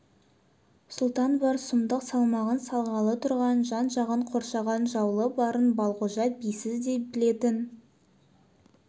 сұлтан бар сұмдық салмағын салғалы тұрған жан-жағын қоршаған жауы барын балғожа бисіз де білетін